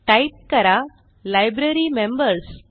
type करा library members